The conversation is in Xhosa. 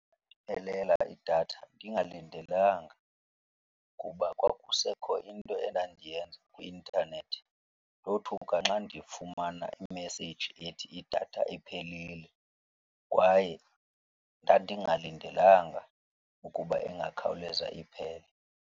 idatha ndingalindelanga kuba kwakusekho into endandiyenza kwi-intanethi. Ndothuka nxa ndifumana imeseyiji ethi idatha iphelile kwaye ndandingalindelanga ukuba ingakhawuleza iphele.